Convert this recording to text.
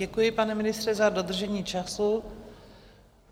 Děkuji, pane ministře, za dodržení času.